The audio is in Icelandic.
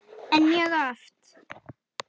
En mjög oft.